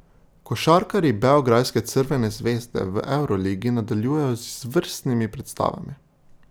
Košarkarji beograjske Crvene zvezde v evroligi nadaljujejo z izvrstnimi predstavami.